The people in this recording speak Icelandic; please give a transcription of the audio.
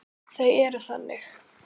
Þau eru þannig.